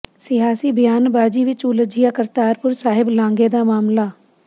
ਸਿਆਸੀ ਬਿਆਨਬਾਜ਼ੀ ਵਿਚ ਉਲਝਿਆ ਕਰਤਾਰਪੁਰ ਸਾਹਿਬ ਲਾਂਘੇ ਦਾ ਮਾਮਲਾ